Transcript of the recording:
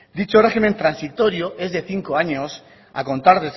dicho régimen transitorio es de cinco años a contar